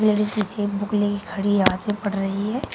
Ladies एक book लेके खड़ी आगे बढ़ रही है।